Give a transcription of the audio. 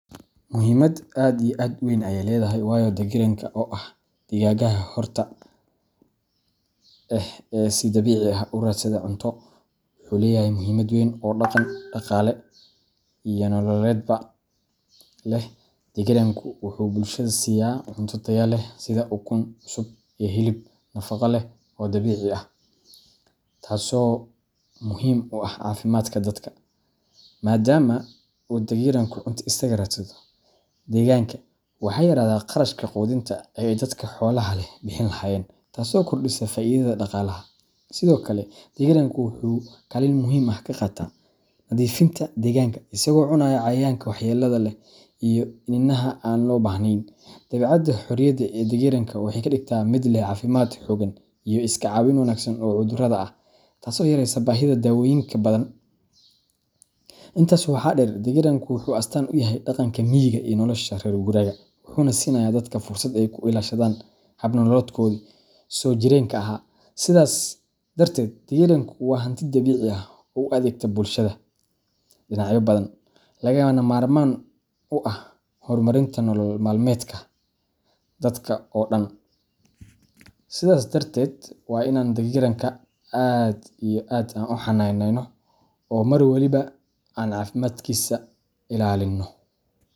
Muhimad aad iyo aad u weyn ayey ledahay wayo, Dagiranka, oo ah digaagga xorta ah ee si dabiici ah u raadsada cunto, wuxuu leeyahay muhiimad weyn oo dhaqan, dhaqaale, iyo nololeedba leh. Dagiranku wuxuu bulshada siiya cunto tayo leh sida ukun cusub iyo hilib nafaqo leh oo dabiici ah, taas oo muhiim u ah caafimaadka dadka. Maadaama uu dagiranku cunto isaga raadsado deegaanka, waxaa yaraada kharashka quudinta ee ay dadka xoolaha leh bixin lahaayeen, taasoo kordhisa faa'iidada dhaqaalaha. Sidoo kale, dagiranka wuxuu kaalin muhiim ah ka qaataa nadiifinta deegaanka isagoo cunaya cayayaanka waxyeelada leh iyo iniinaha aan loo baahnayn. Dabeecadda xorriyadda ee dagiranka waxay ka dhigtaa mid leh caafimaad xooggan iyo iska caabin wanaagsan oo cudurrada ah, taasoo yareysa baahida dawooyin badan. Intaas waxaa dheer, dagiranka wuxuu astaan u yahay dhaqanka miyiga iyo nolosha reer guuraaga, wuxuuna siinayaa dadka fursad ay ku ilaashadaan hab nololeedkoodii soo jireenka ahaa. Sidaas darteed, dagiranka waa hanti dabiici ah oo u adeegta bulshada dhinacyo badan, lagana maarmaan u ah horumarinta nolol maalmeedka dadka oo dhan. Sidhas darted waa inan dagiranka aad iyo aad an u xananeyno oo mar waliba an cafimadkisa ilalino.